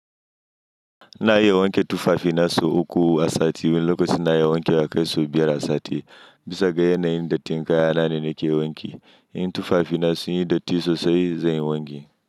Ina iya wanke tufafi na sau uku a sati. Lokacin ina iya wanke wa yakai so biyar a sati. Bisa ga yanayin dattin kaya na ne, nake wanki. In tufafi na sunyi datti sosai, zan yi wanki.